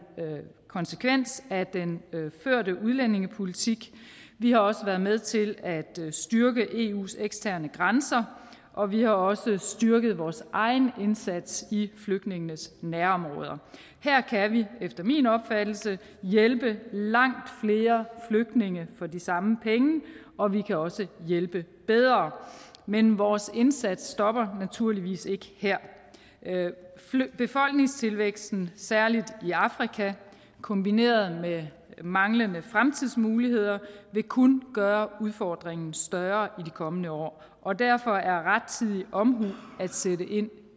konsekvens af den førte udlændingepolitik vi har også været med til at styrke eus eksterne grænser og vi har også styrket vores egen indsats i flygtningenes nærområder her kan vi efter min opfattelse hjælpe langt flere flygtninge for de samme penge og vi kan også hjælpe bedre men vores indsats stopper naturligvis ikke her befolkningstilvæksten særlig i afrika kombineret med manglende fremtidsmuligheder vil kun gøre udfordringen større i de kommende år og derfor er rettidig omhu at sætte ind